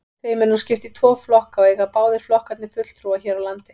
Þeim er nú skipt í tvo flokka og eiga báðir flokkarnir fulltrúa hér á landi.